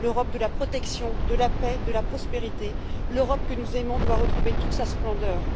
L'Europe de la protection, de la paix, de la prospérité, l'Europe que nous aimons doit retrouver toute sa splendeur.